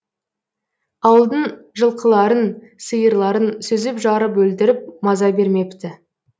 ауылдың жылқыларын сиырларын сүзіп жарып өлтіріп маза бермепті